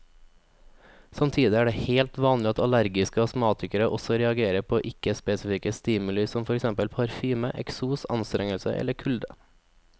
Samtidig er det helt vanlig at allergiske astmatikere også reagerer på ikke spesifikke stimuli som for eksempel parfyme, eksos, anstrengelse eller kulde.